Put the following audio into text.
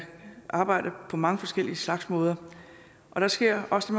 arbejde på mange forskellige slags måder der sker også